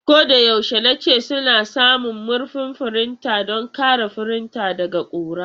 Ko da yaushe nace suna samun murfin firinta don kare firinta daga ƙura.